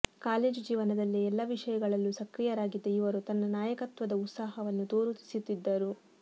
college ಜೀವನದಲ್ಲೇ ಎಲ್ಲ ವಿಷಯಗಳಲ್ಲೂ ಸಕ್ರಿಯರಾಗಿದ್ದ ಇವರು ತನ್ನ ನಾಯಕತ್ವದ ಉತ್ಸಾಹವನ್ನು ತೋರಿಸುತ್ತಿದ್ದರು